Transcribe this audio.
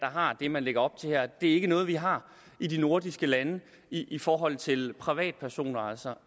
har det man lægger op til her det er ikke noget vi har i de nordiske lande i forhold til privatpersoner altså